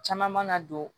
Caman mana don